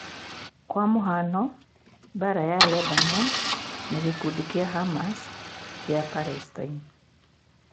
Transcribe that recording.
Kwa mũhiano mbara wa Lebanoni na gĩkundi kĩa Hamas kia Palestine